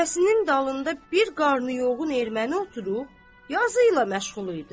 Qəfəsinin dalında bir qarnı yoğun erməni oturub, yazı ilə məşğul idi.